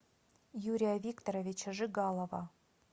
юрия викторовича жигалова